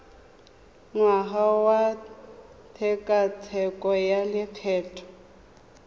ngwaga wa tshekatsheko ya lokgetho